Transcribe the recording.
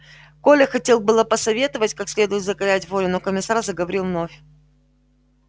коля хотел было посоветовать как следует закалять волю но комиссар заговорил вновь